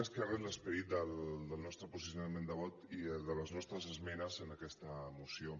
més que res l’esperit del nostre posicionament de vot i de les nostres esmenes en aquesta moció